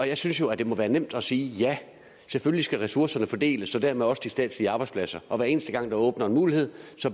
jeg synes jo det må være nemt at sige ja selvfølgelig skal ressourcerne fordeles og dermed også de statslige arbejdspladser og hver eneste gang der åbnes en mulighed